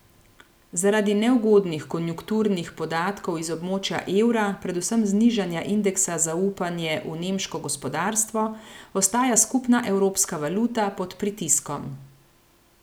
Zaradi neugodnih konjunkturnih podatkov iz območja evra, predvsem znižanja indeksa zaupanje v nemško gospodarstvo, ostaja skupna evropska valuta pod pritiskom.